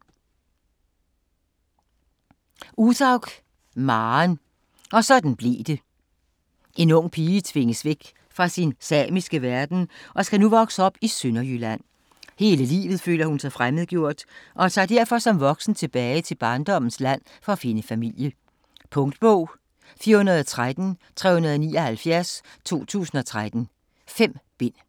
Uthaug, Maren: Og sådan blev det En ung pige tvinges væk fra sin samiske verden og skal nu vokse op i Sønderjylland. Hele livet føler hun sig fremmedgjort og tager derfor som voksen tilbage til barndommens land for at finde familie. Punktbog 413379 2013. 5 bind.